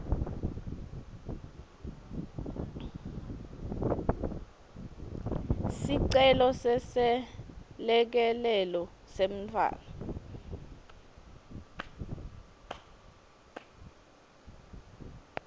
sicelo seselekelelo semntfwana